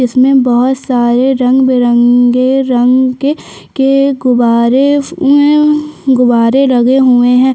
जिसमें बहुत सारे रंग बिरंगे रंग के के गुब्बारे अम्म गुब्बारे लगे हुए है।